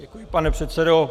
Děkuji, pane předsedo.